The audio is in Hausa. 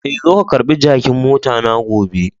Eh,,zo ka karba jakin mota na gobe.